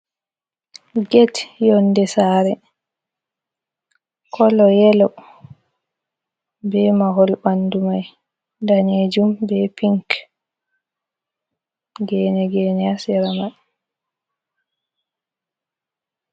Get yonnde saare, kolo yelo, be mahol ɓanndu may daneejum, be piink, geene geene, a sera may.